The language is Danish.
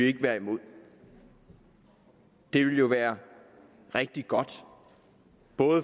ikke være imod det ville jo være rigtig godt